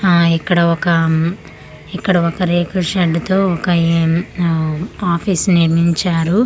ఆ ఇక్కడ ఒక అఅ ఇక్కడ రేకు షెడ్ తో ఒక ఏ ఆ ఆఫీస్ నిర్మించారు .]